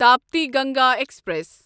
Tapti Ganga express